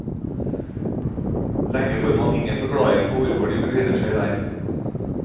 Lenge får man ingen forklaring på hvorfor de befinner seg der.